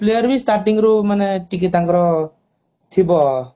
all player starting ରୁ ଟିକେ ତାଙ୍କର ଥିବ